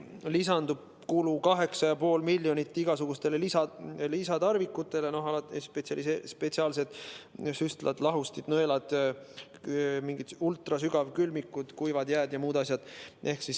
Lisandub 8,5 miljonit kulu igasugustele lisatarvikutele, alates spetsiaalsetest süstaldest, lahustitest, nõeltest, mingitest ultrasügavkülmikutest, kuivast jääst ja muudest asjadest.